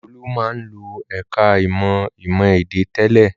Olú máa ń lọ ẹ̀ka-ìmọ̀ ìmọ̀-èdè tẹ́lẹ̀.